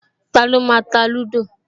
Taló máa ta lúdò?